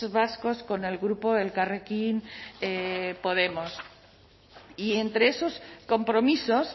vascos con el grupo elkarrekin podemos y entre esos compromisos